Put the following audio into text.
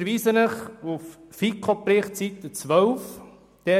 Ich verweise Sie auf den Bericht der FiKo, Seite 12.